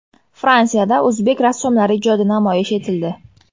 Fransiyada o‘zbek rassomlari ijodi namoyish etildi.